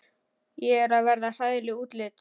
Ég er að verða hræðileg útlits.